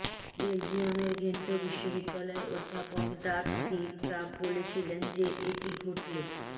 বেলজিয়ামের ঘেন্ট বিশ্ববিদ্যালয়ের অধ্যাপক ডার্ক ডি গ্রাফ বলেছিলেন যে এটি ঘটলে